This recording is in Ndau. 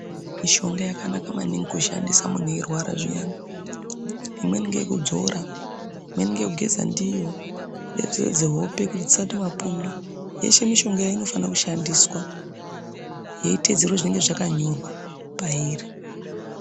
Mishonga yakanaka maningi kushandisa munthu eirwara zviyani imweni ngeyekudzora imweni ngeyekugeza ndiyo yozodze hope kuti dzisaita mapundu yeshe mishongayo inofane kushandiswa yeiteedzerwa zvinenge zvakanyorwa pairi.